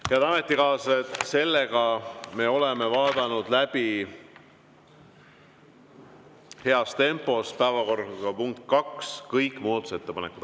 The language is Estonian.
Head ametikaaslased, me oleme vaadanud heas tempos läbi kõik päevakorrapunkti nr 2 muudatusettepanekud.